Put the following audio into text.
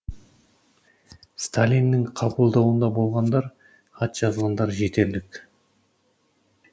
сталиннің қабылдауында болғандар хат жазғандар жетерлік